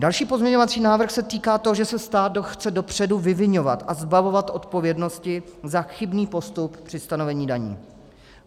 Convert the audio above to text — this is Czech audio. Další pozměňovací návrh se týká toho, že se stát chce dopředu vyviňovat a zbavovat odpovědnosti za chybný postup při stanovení daní.